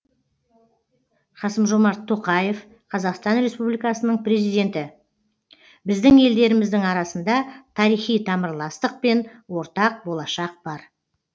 қасым жомарт тоқаев қазақстан республикасының президенті біздің елдеріміздің арасында тарихи тамырластық пен ортақ болашақ бар